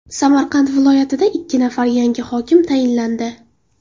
Samarqand viloyatida ikki nafar yangi hokim tayinlandi.